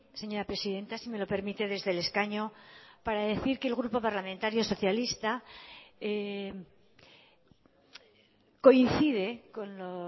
señora presidenta si me lo permite desde el escaño para decir que el grupo parlamentario socialista coincide con lo